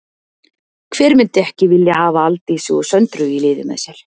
Hver myndi ekki vilja hafa Aldísi og Söndru í liði með sér?